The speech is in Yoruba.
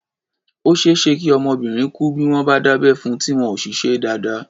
Ó ṣeé ṣe kí ọmọbìnrin kú bí wọ́n bá dábẹ́ fun, tí wọn ò sì ṣe é dáadáa.